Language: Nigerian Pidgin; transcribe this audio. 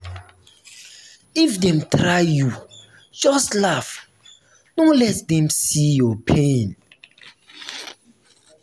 if dem try you just laugh no let dem see your pain.